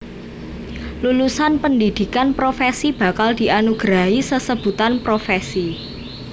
Lulusan pendhidhikan profèsi bakal dianugerahi sesebutan profèsi